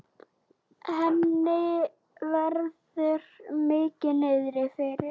Henni verður mikið niðri fyrir.